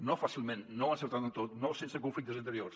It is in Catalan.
no fàcilment no encertant en tot no sense conflictes interiors